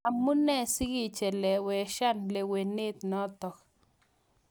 Amu nee sikecheleweshan lewenet notok.